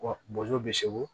Bɔnsɔnw bɛ segu